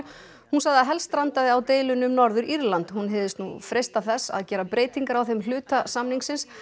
hún sagði að helst strandaði á deilunni um Norður Írland hún hygðist nú freista þess að gera breytingar á þeim hluta samningsins